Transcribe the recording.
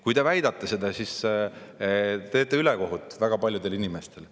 Kui te väidate, siis te teete ülekohut väga paljudele inimestele.